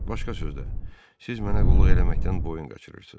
Başqa sözlə, siz mənə qulluq eləməkdən boyun qaçırırsız.